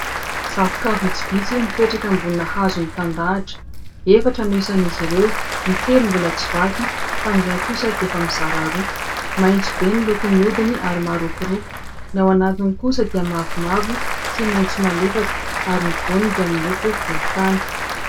Zavoka vitsivitsy mipetraka ambonina hazo mitandahatra : efatra no isan'izy ireo ny telo mbola tsy vaky fa ny iray kosa dia efa mizara roa, maitso be ny lokony hodiny ary marokoroko, ny ao anatiny kosa dia mavomavo sy maitso malefaka ary ny voany dia miloko volontany.